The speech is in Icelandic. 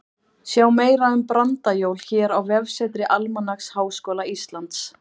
Sjá meira um brandajól hér á vefsetri Almanaks Háskóla Íslands.